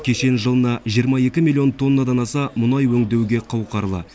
кешен жылына жиырма екі миллион тоннадан аса мұнай өңдеуге қауқарлы